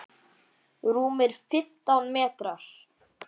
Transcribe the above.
Rúmir fimmtán metrar.